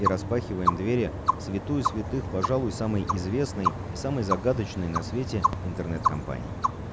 и распахиваем двери в святую святых пожалуй самой известной и самой загадочной на свете интернет-компании